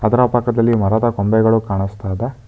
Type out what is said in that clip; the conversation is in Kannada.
ಅದರ ಪಕ್ಕದಲ್ಲಿ ಮರದ ಕೊಂಬೆಗಳು ಕಾಣಿಸ್ತಾ ಇದೆ.